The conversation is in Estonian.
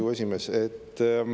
Hea küsija!